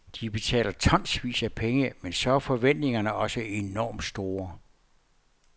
De betaler tonsvis af penge, men så er forventningerne også enormt store.